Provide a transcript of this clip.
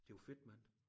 Det jo fedt mand